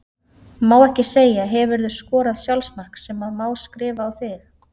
Má ekki segja Hefurðu skorað sjálfsmark sem að má skrifa á þig?